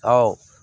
Ɔ